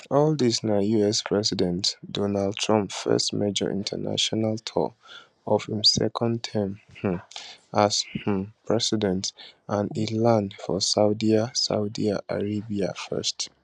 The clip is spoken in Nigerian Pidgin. all dis na us president donald trump first major international tour of im second term um as um president and e land for saudia saudia arabia first